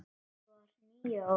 Ég var níu ára.